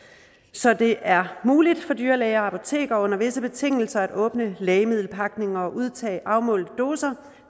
så det er muligt for dyrlæger og apotekere under visse betingelser at åbne lægemiddelpakninger og udtage afmålte doser